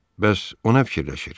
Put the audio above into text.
Bəs o nə fikirləşir?